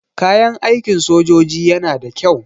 Kayan aikin sojoji yana da kyau.